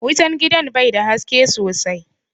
Wutan gidan bai da haske sosai